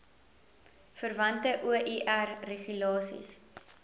verwante oir regulasies